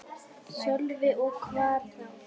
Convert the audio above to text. Sölvi: Og hvar þá?